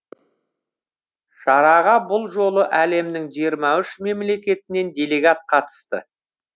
шараға бұл жолы әлемнің жиырма үш мемлекетінен делегат қатысты